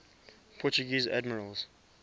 portuguese admirals